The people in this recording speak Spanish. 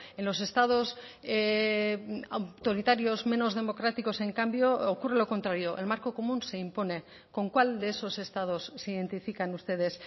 en los estados autoritarios menos democráticos en cambio ocurre lo contrario el marco común se impone con cuál de esos estados se identifican ustedes